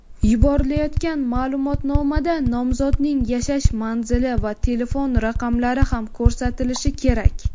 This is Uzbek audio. Yuborilayotgan maʼlumotnomada nomzodning yashash manzili va telefon raqamlari ham ko‘rsatilishi kerak.